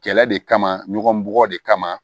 Kɛlɛ de kama ɲɔgɔn bɔgɔ de kama